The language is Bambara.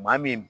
Maa min